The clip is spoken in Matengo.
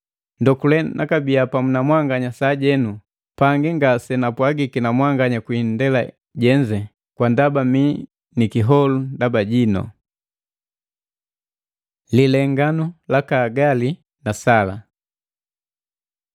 Ndokule nakabiya pamu na mwanganya sajenu, pangi nganapwagiki na mwanganya kwi indela jenze. Kwa ndaba mii ni kiholu ndaba jinu. Lilenganu laka Hagali na Sala